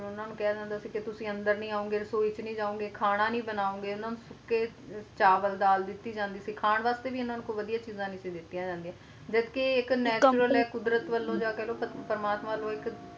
ਤੇ ਉਨ੍ਹਾਂ ਨੂੰ ਕਹਿ ਰੇ ਹੋਂਦੇ ਸੀ ਕ ਤੁਸੀ ਅੰਦਰ ਨਹੀਂ ਆਓਗੇ ਰਸੋਇ ਵਿਚ ਨਹੀਂ ਜੋ ਗੇ ਖਾਣਾ ਨਹੀਂ ਬਣਾਓ ਗੇ ਇਨ੍ਹਾਂ ਨੂੰ ਸੌਖੇ ਦਲ ਚਾਵਲ ਦੀ ਜਾਂਦੀ ਸੀ ਕਹਾਣੀ ਨੂੰ ਵੀ ਇਨ੍ਹਾਂ ਨੂੰ ਕੋਈ ਇਨ੍ਹਾਂ ਨੂੰ ਕੋਈ ਵੱਡੀਆਂ ਚੀਜ਼ਾਂ ਨਹੀਂ ਦਿੱਤੀਆਂ ਜਾਂਦੀਆਂ ਸਨ ਜਬ ਕ ਏ ਇਕ ਹੈ ਕੁਦਰਤ ਵੱਲੋ ਪ੍ਰਮਾਤ੍ਰ ਵੱਲੋ ਹੈ ਇਕ